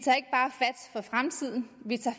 at fremtiden vi tager